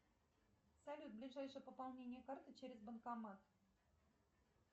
салют ближайшее пополнение карты через банкомат